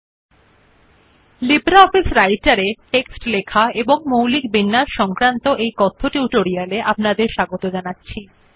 স্বাগতম লিব্রিঅফিস রাইটের উপর কথ্য টিউটোরিয়াল টেক্সট এবং মৌলিক বিন্যাস